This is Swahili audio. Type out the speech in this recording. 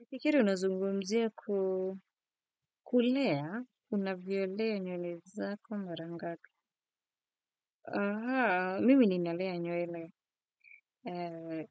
Nafikiri unazungumzia kulea, unavyolea nywele zako mara ngapi. Mimi ninalea nywele,